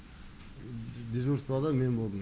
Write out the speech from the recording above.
дежурствода мен болдым